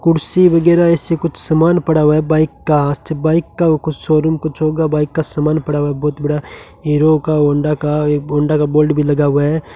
कुर्सी वगैरा इससे कुछ सामान पड़ा हुआ है बाइक का बाइक का कुछ शोरूम कुछ होगा बाइक का समान पड़ा बहुत बड़ा हीरो का होंडा का एक होंडा का बोर्ड भी लगा हुआ है।